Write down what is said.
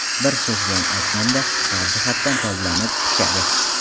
Bir so‘z bilan aytganda, har jihatdan toblanib, pishadi.